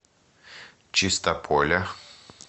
чистополя